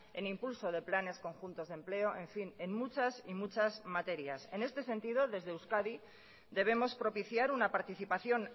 en impulso de planes conjuntos de empleo en fin en muchas y muchas materias en este sentido desde euskadi debemos propiciar una participación